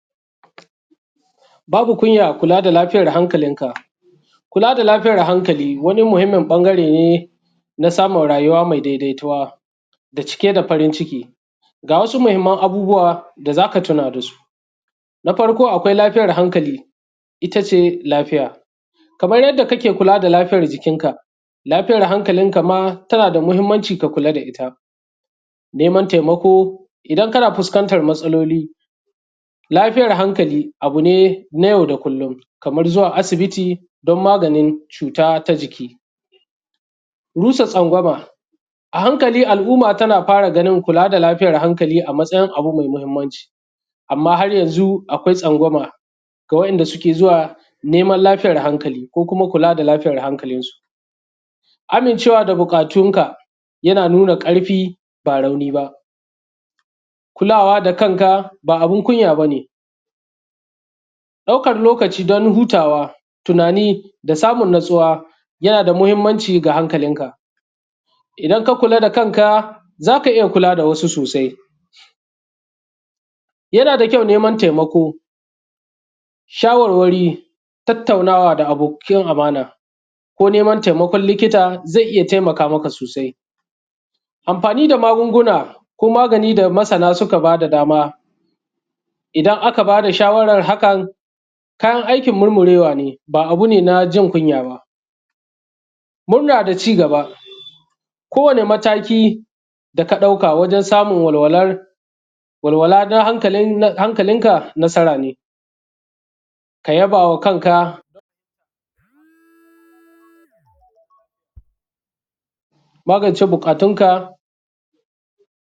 Babu kunya kula da lafiyar hankalin. Kula da lafiyar hankali wani muhimmin bangare ne na samun rayuwa mai daidaituwa da cike da farin ciki. Ga wasu muhimman abubuwa da za ka tuna da su. Na farko akwai lafiyar hankali. Itace lafiya kamar yadda kake kula da lafiyar jikin ka lafiyar hankali ka ma tana da muhimmanci ka kula da ita. Neman taimako idan kana fuskantar matsaloli. Lafiyar hankali abu ne na yau da kullun kamar zuwa asibiti don maganin cuta ta jiki, rusa tsangwama a hankali. Al’umma tana fara ganin kula da lafiyar hankali a matsayin abu mai mahimmanci. Amma har yanzu akwai tsangwama ga wa’inda suke zuwa neman lafiyar hankali, ko kuma kula da lafiyar hankalinsu. Amincewa da buƙatun ka yana nuna ƙarfi ba rauni ba. Kulawa da kanka ba abin kunya bane, ɗaukar lokaci don hutawa tunani da samun natsuwa yana da mahimmanci ga hankalin ka. Idan ka kula da kanka za ka iya kula da wasu sosai. Yana da kyau neman taimako da shawarwari, tattaunawa, da abokin amana ko neman taimakon likita zai iya taimaka maka sosai. Amfani da magunguna ko magani da masana suka ba da dama idan aka ba da shawaran hakan kayan aikin murmurewa ne, ba abu ne na jin kunya ba. Murna da cigaba, kowane mataki da ka ɗauka wajen samun walwala domin hankalin ka nasara ne. ka yaba wa kanka, ka magance bukatunka.